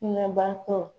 Nɛbatɔ